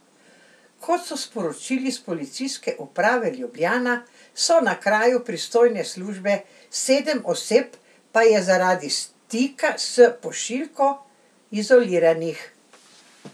Kot so sporočili s Policijske uprave Ljubljana, so na kraju pristojne službe, sedem oseb pa je zaradi stika s pošiljko izoliranih.